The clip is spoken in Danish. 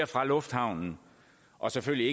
fra lufthavnen og selvfølgelig